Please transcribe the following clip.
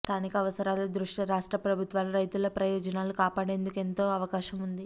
స్థానిక అవసరాల దృష్ట్యా రాష్ట్రప్రభుత్వాలు రైతుల ప్రయోజనాలు కాపాడేందుకు ఎంతో అవకాశం ఉంది